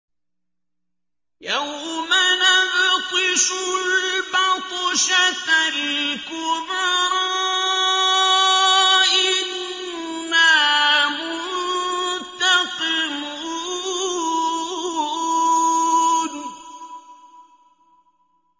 يَوْمَ نَبْطِشُ الْبَطْشَةَ الْكُبْرَىٰ إِنَّا مُنتَقِمُونَ